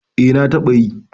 eh na taba yi